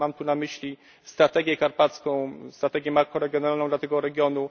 Mam tu na myśli strategię karpacką, strategię makroregionalną dla tego regionu.